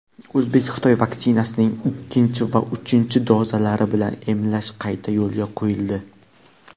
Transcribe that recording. O‘zbek-xitoy vaksinasining ikkinchi va uchinchi dozalari bilan emlash qayta yo‘lga qo‘yildi.